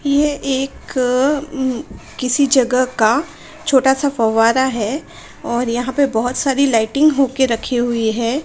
यह एक किसी जगह का छोटा सा फवारा है और यहाँ पे बहुत सारी लायटिंग होके रखी हुई है।